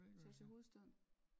Tage til hovedstaden